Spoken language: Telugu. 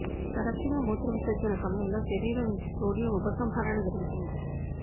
తరచుగా మూత్రవిసర్జన సమయంలో శరీరం నుంచి సోడియం ఉపసంహరణ జరుగుతుంది